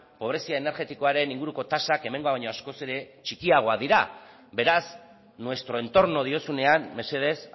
pobrezia energetikoaren inguruko tasak hemengoa baina askoz ere txikiagoa dira beraz nuestro entorno diozunean mesedez